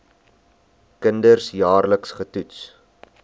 kinders jaarliks getoets